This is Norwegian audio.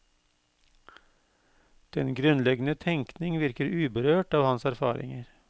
Den grunnleggende tenkning virker uberørt av hans erfaringer.